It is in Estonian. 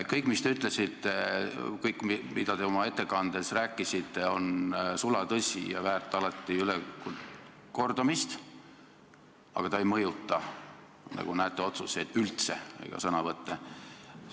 Kõik, mida te oma ettekandes rääkisite, on sulatõsi ja väärt alati ülekordamist, aga see ei mõjuta, nagu näete, üldse otsuseid ega sõnavõtte.